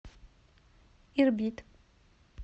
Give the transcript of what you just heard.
ирбит